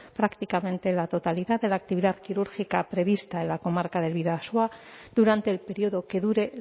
prácticamente la totalidad de la actividad quirúrgica prevista en la comarca del bidasoa durante el periodo que dure